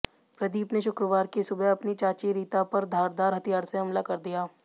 प्रदीप ने शुक्रवार की सुबह अपनी चाची रीता पर धारदार हथियार से हमला कर दिया